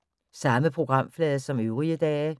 Samme programflade som øvrige dage